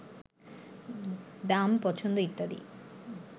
দাম, পছন্দ ইত্যাদিতে